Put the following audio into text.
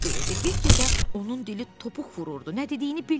Beləcə get-gedə onun dili topuq vururdu, nə dediyini bilmirdi.